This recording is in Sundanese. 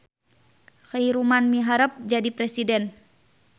Khaeruman miharep jadi presiden